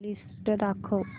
list दाखव